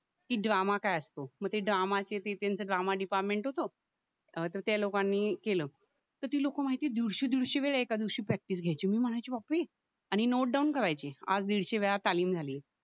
की ड्रामा काय असतो म ते ड्रामाचे ते त्यांचं ड्रामा डिपार्टमेंट होतं ह त्या लोकांनी केलं तर ती लोक माहितीये दीडशे दीडशे वेळा एका दिवशी प्रॅक्टिस घ्यायची मी म्हणायची बाप रे आणि नोट डाऊन करायची आज दीडशे वेळा तालीम झाली